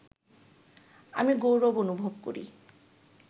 আমি গৌরব অনুভব করি